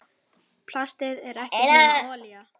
Plastið er ekkert nema olía.